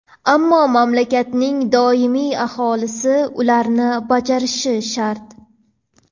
ammo mamlakatning doimiy aholisi ularni bajarishi shart.